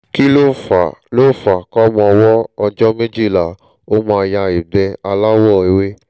kí lo fa lo fa kọ́mọ ọwọ́ ọjọ́ méjìlá ó máa ya ìgbẹ́ aláwọ̀ ewé?